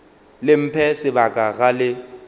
le mphe sebaka ga le